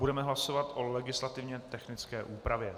Budeme hlasovat o legislativně technické úpravě.